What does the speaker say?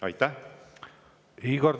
Aitäh!